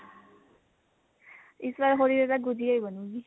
ਇਸ ਵਾਰ ਹੋਲੀ ਤੇ ਤਾ ਗੁਝੀਆ ਹੀ ਬਨੁਗੀ